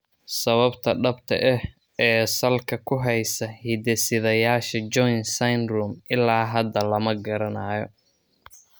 Sababta dhabta ah, ee salka ku haysa hidde-sideyaasha Jones syndrome ilaa hadda lama garanayo.